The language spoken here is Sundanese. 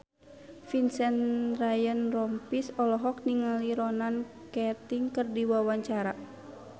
Vincent Ryan Rompies olohok ningali Ronan Keating keur diwawancara